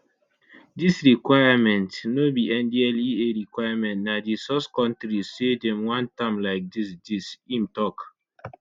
dis requirement no be ndlea requirement na di source kontris say dem want am like dis dis im tok